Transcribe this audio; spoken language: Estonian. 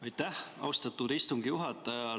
Aitäh, austatud istungi juhataja!